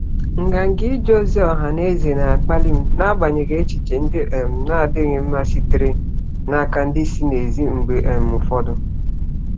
Nganga ije ozi ọha na eze na-akpali m n'agbanyeghị echiche ndị um na-adịghị mma sitere n'aka ndị si n'èzí mgbe um ụfọdụ.